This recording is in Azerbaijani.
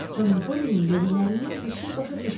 Xanım Pollynin dediklərindən bir şey başa düşmədi.